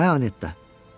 Hə Anetta!